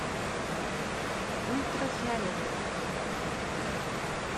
ультрафиолет